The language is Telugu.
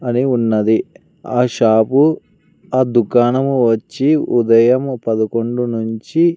అని ఉన్నది ఆ షాపు ఆ దుకాణము వచ్చి ఉదయం పదకొండు నుంచి--